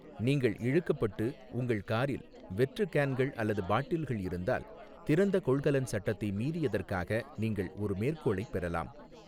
நீங்கள் இழுக்கப்பட்டு, உங்கள் காரில் வெற்று கேன்கள் அல்லது பாட்டில்கள் இருந்தால், திறந்த கொள்கலன் சட்டத்தை மீறியதற்காக நீங்கள் ஒரு மேற்கோளைப் பெறலாம்.